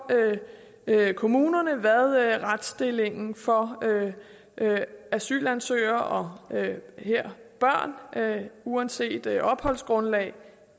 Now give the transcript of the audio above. kommunerne hvad retsstillingen for asylansøgere og her børn uanset opholdsgrundlag